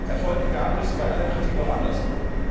Erfolg gab es bei aller Kritik auch anderswo.